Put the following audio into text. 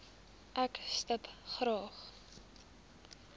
ek stip graag